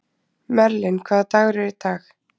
Merlin, hvaða dagur er í dag?